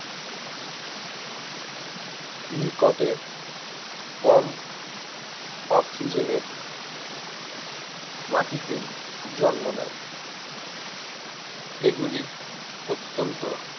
নিকটে কম অক্সিজেন এর মাটিতে জন্ম নেয় এগুলি অত্যন্ত